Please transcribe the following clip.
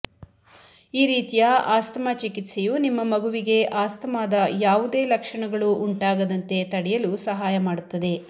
ಈ ರೀತಿಯ ಆಸ್ತಮಾ ಚಿಕಿತ್ಸೆಯು ನಿಮ್ಮ ಮಗುವಿಗೆ ಆಸ್ತಮಾದ ಯಾವುದೇ ಲಕ್ಷಣಗಳು ಉಂಟಾಗದಂತೆ ತಡೆಯಲು ಸಹಾಯ ಮಾಡುತ್ತದೆ